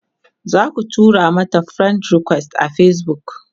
zaku tura mata friend request a Facebook?